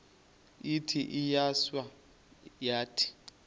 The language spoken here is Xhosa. ithi iyawisa yathi